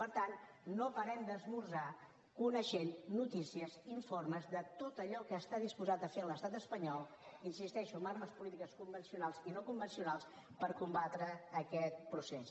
per tant no parem d’esmorzar coneixent noticies informes de tot allò que està disposat a fer l’estat espanyol hi insisteixo amb armes polítiques convencionals i no convencionals per combatre aquest procés